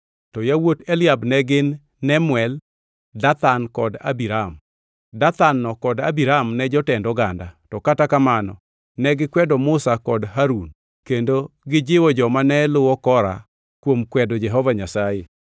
to yawuot Eliab ne gin Nemuel, Dathan kod Abiram. Dathan-no kod Abiram ne jotend oganda, to kata kamano negikwedo Musa kod Harun kendo gijiwo joma ne luwo Kora kuom kwedo Jehova Nyasaye.